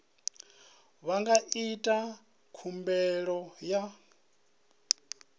vha nga ita khumbelo ya